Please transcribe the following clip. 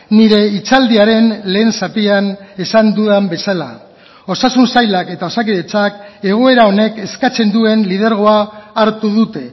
nire hitzaldiaren lehen zatian esan dudan bezala osasun sailak eta osakidetzak egoera honek eskatzen duen lidergoa hartu dute